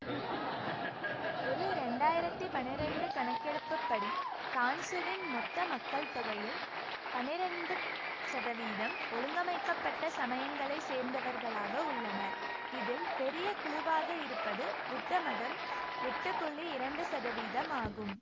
ஒரு இரண்டாயிரத்தி பன்னிரெண்டு கணக்கெடுப்புப்படி கான்சுவின் மொத்த மக்கள்தொகையில் பன்னிரெண்டு சதவீதம் ஒழுங்கமைக்க பட்ட சமயங்களைச் சேர்ந்தவர்களாக உள்ளனர் இதில் பெரிய குழுவாக இருப்பது புத்தமதம் எட்டு புள்ளி இரண்டு சதவீதம் ஆகும்